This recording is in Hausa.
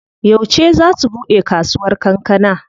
Yauce zaa su buɗe kasuwar kankana?